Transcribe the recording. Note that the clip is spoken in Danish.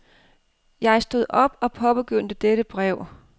Jeg stod op og påbegyndte dette brev.